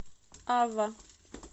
ава